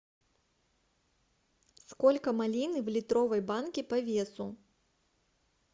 сколько малины в литровой банке по весу